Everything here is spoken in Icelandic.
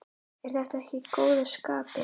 Ertu ekki í góðu skapi?